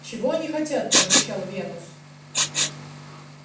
чего они хотят прорычал венус